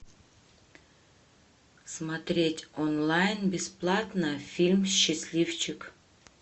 смотреть онлайн бесплатно фильм счастливчик